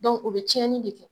Dɔnku o be cɛni de kɛ